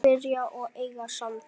Spyrja og eiga samtal.